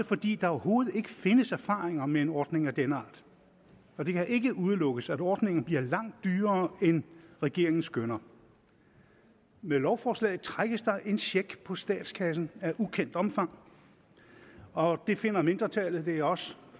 fordi der overhovedet ikke findes erfaringer med en ordning af denne art og det kan ikke udelukkes at ordningen bliver langt dyrere end regeringen skønner med lovforslaget trækkes der en check på statskassen af ukendt omfang og det finder mindretallet det er os